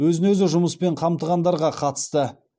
өзін өзі жұмыспен қамтығандарға қатысты